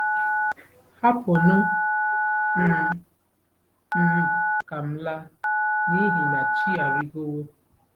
“Hapụnụ m m ka m laa, n’ihi na chi arịgowo .”